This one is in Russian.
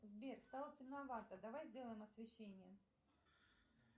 сбер стало темновато давай сделаем освещение